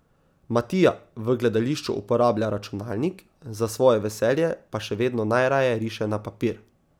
Matija v gledališču uporablja računalnik, za svoje veselje pa še vedno najraje riše na papir.